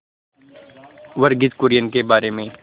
वर्गीज कुरियन के बारे में